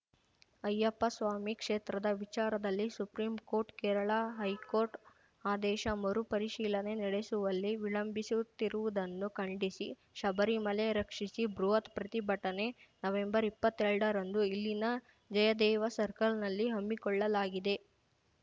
ಅಯ್ಯಪ್ಪ ಸ್ವಾಮಿ ಕ್ಷೇತ್ರದ ವಿಚಾರದಲ್ಲಿ supreme court Kerala high court ಆದೇಶ ಮರು ಪರಿಶೀಲನೆ ನಡೆಸುವಲ್ಲಿ ವಿಳಂಬಿಸುತ್ತಿರುವುದನ್ನು ಖಂಡಿಸಿ ಶಬರಿಮಲೆ ರಕ್ಷಿಸಿ ಬೃಹತ್‌ ಪ್ರತಿಭಟನೆ ನವೆಂಬರ್ಇಪ್ಪತ್ತೆರಡರಂದು ಇಲ್ಲಿನ ಜಯದೇವ ಸರ್ಕಲ್‌ನಲ್ಲಿ ಹಮ್ಮಿಕೊಳ್ಳಲಾಗಿದೆ